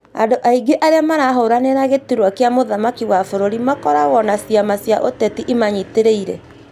Andũ aingĩ arĩa marahũranĩra gĩturwa gĩa mũthamaki wa bũrũri makoragwo na ciama cia ũteti imanyitĩrĩire